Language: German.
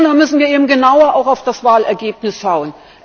Da müssen wir eben genauer auch auf das Wahlergebnis schauen.